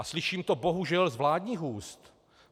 A slyším to bohužel z vládních úst.